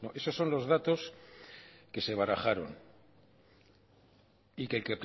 esos son los datos que se barajaron y que el